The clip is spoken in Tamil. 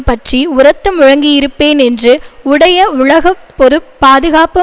பற்றி உரத்து முழங்கியிருப்பேன் என்று உடைய உலக பொது பாதுகாப்பு